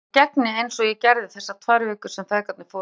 Ég gegni, eins og ég gerði þessar tvær vikur sem feðgarnir fóru til